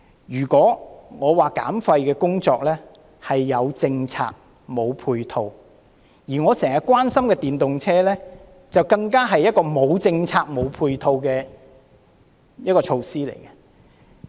如果說減廢工作是"有政策，無配套"，我經常關心的電動車，更可說是一項"無政策，無配套"的項目。